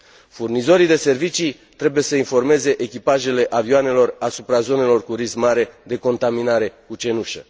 Furnizorii de servicii trebuie să informeze echipajele avioanelor asupra zonelor cu risc mare de contaminare cu cenușă.